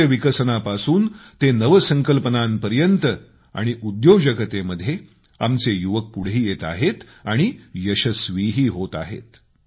कौशल्य विकसनापासून ते नवसंकल्पनांपर्यंत आणि उद्योजकतेमध्ये आमचे युवक पुढे येत आहेत आणि यशस्वीही होत आहेत